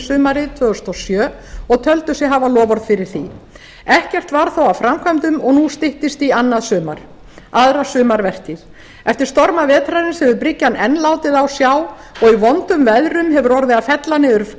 sumarið tvö þúsund og sjö og töldu sig hafa loforð fyrir því ekkert varð þó af framkvæmdum og nú styttist í annað sumar aðra sumarvertíð eftir storma vetrarins hefur bryggjan enn látið á sjá og í vondum veðrum hefur orðið að fella niður